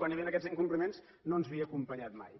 quan hi havia aquests incompliments no ens havia acompanyat mai